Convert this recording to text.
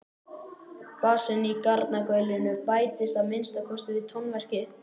Bassinn í garnagaulinu bættist að minnsta kosti við tónverkið.